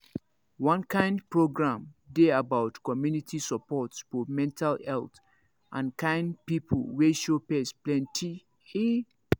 one kind program dey about community support for mental health and kind people wey show face plenty ehh